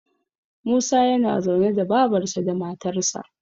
Musa yana zaune da babarsa da matarsa